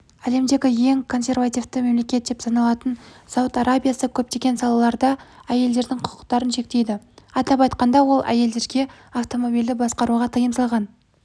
әлемдегі ең консервативті мемлекет деп саналатын сауд арабиясы көптеген салаларда әйелдердің құқықтарын шектейді атап айтқанда ол әйелдерге автомобильді басқаруға тыйым салған